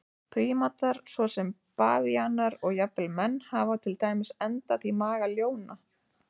Prímatar svo sem bavíanar og jafnvel menn hafa til dæmis endað í maga ljóna.